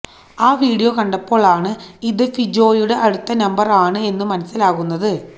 ആ വീഡിയോ കണ്ടപ്പോൾ ആണ് ഇതു ഫിജോയുടെ അടുത്ത നമ്പർ ആണ് എന്നു മനസ്സിലാകുന്നത്